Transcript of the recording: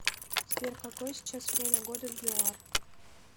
сбер какое сейчас время года в юар